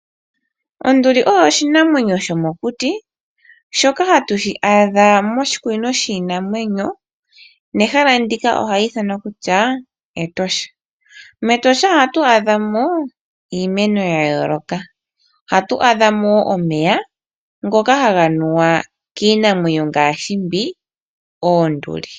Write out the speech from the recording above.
Onduli oyo oshinamwenyo shomokuti shoka hatu shi adha moshikunino shiinamwenyo nehala ndika ohali ithanwa kutya Etosha. MEtosha ohatu adha mo iimeno ya yooloka. Ohatu adha mo wo omeya ngoka haga nuwa kiinamwenyo ngaashi mbi: oonduli.